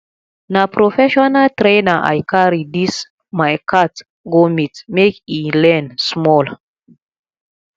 na prefessional trainer i carry dis my cat go meet make e learn small